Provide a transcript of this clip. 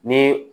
Ni